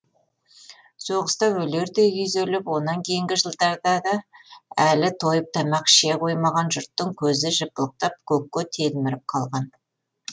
соғыста өлердей күйзеліп онан кейінгі жылдарда да әлі тойып тамақ іше қоймаған жұрттың көзі жыпылықтап көкке телміріп қалған